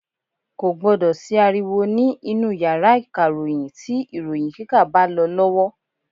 Kò gbọ́dọ̀ sí ariwo ní inú yàrá ìkàròyìn tí ìròyìn kíkà bá lọ lọ́wọ́.